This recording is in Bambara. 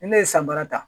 Ni ne ye san bara ta